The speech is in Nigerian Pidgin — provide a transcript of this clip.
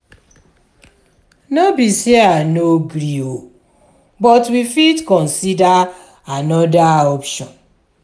no be say i no gree but we fit consider another option.